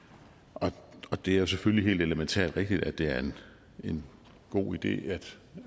og det er selvfølgelig helt elementært rigtigt at det er en god idé at